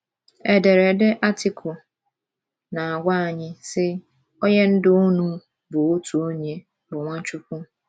Ederede Artịkụ na - agwa anyị, sị: “ Onye Ndú unu bụ otu onye, bụ́ Nwachukwu. ”